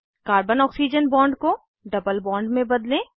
carbon oxygen bond को double bond में बदलें